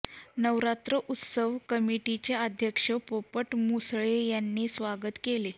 नवरात्र उत्सव कमिटीचे अध्यक्ष पोपट मुसळे यांनी स्वागत केले